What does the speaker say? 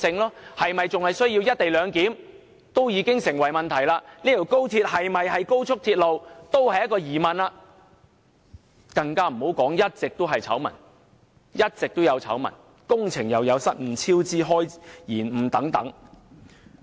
高鐵是否仍然需要"一地兩檢"已成問題，高鐵是否一條高速鐵路也成疑問，更不用說接連出現的醜聞，包括工程失誤及超支延誤等。